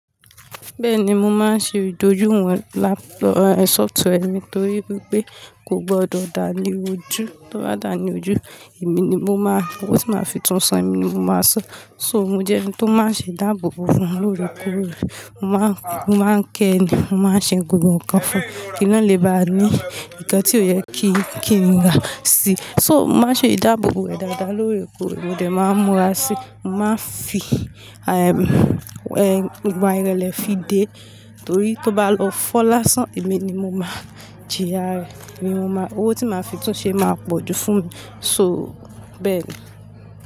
Bẹ́ẹ̀ni, mo máa ń ṣe ìdójú ìwọ̀n láàpù, software mi torí pé kò gbọdọ̀ dà ní ojú, tó bà da ní ojú, èmi ni mo máa, owó tí màá fi túnsan emi ni mo máa san. So mo jẹ́ ẹni tó máa ń ṣe ìdábòbò fún olóre koorẹ. Mo máa ń ké ẹni, mo máa ń ṣe egungun nǹkan fún un. Kí ló le bá ní nǹkan tí ó yẹ kí ẹni dà sí. So mo máa ń ṣe ìdábòbò rẹ̀ dáadáa lórekoore mò de máa ń múra sí. Mo máa ń fi, ehm, ìgbà irẹlẹ fi dé torí tó bá lọ fọ́ lásán, èmi ni mo máa jìyà rẹ̀. Èmi ni mo máa, owó tí màá fi tún ṣe máa pọ̀ ju fún mi. So bẹ́ẹ̀ ni.